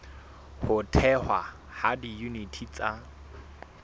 ho thehwa ha diyuniti tsa